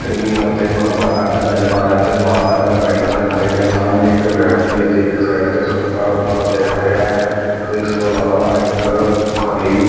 cream ਅਤੇ ਭਗਵਾ ਰੰਗ ਨਜ਼ਰ ਆ ਰਿਹਾ ਅਤੇ ਲਾਲ ਰੰਗ ਦਾ ਬੈਨਰ ਦਿਖਾਈ ਰਿਹਾ ਸਾਹਮਣੇ ਇੱਕ ਵਿਅਕਤੀ ਅਤੇ ਇੱਕ ਸਾਈਡ ਤੇ ਸੁੱਕਾ ਰੁੱਖ ਅਤੇ ਹਰਿਆ ਉਸ ਤੋਂ ਇਲਾਵਾ ਇੱਕ ਹਰੀ--